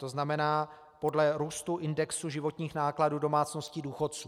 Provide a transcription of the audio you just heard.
To znamená, podle růstu indexu životních nákladů domácností důchodců.